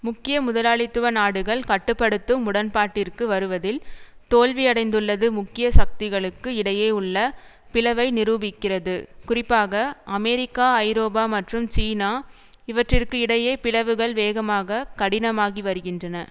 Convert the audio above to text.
முக்கிய முதலாளித்துவ நாடுகள் கட்டு படுத்தும் உடன்பாட்டிற்கு வருவதில் தோல்வியடைந்துள்ளது முக்கிய சக்திகளுக்கு இடையே உள்ள பிளவை நிரூபிக்கிறது குறிப்பாக அமெரிக்கா ஐரோப்பா மற்றும் சீனா இவற்றிற்கு இடையே பிளவுகள் வேகமாக கடினமாகி வருகின்றன